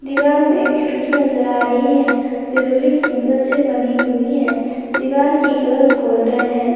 दिवाल में खिड़की नजर आ रही है जो लोहे की मदद से बनी हुई है दिवाल की कलर गोल्डन है।